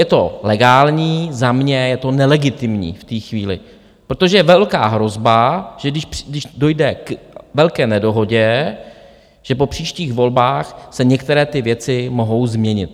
Je to legální, za mě je to nelegitimní v té chvíli, protože je velká hrozba, že když dojde k velké nedohodě, že po příštích volbách se některé ty věci mohou změnit.